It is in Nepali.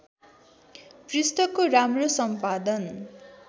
पृष्ठको राम्रो सम्पादन